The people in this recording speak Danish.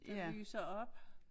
Der lyser op